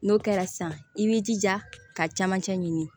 N'o kɛra sisan i b'i jija ka camancɛ ɲini